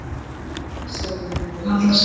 Þess vegna munu þau haldast.